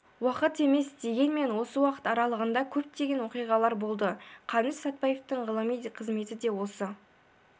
уақыт емес дегенмен осы уақыт аралығында көптеген оқиғалар болды қаныш сәтпаевтың ғылыми қызметі де осы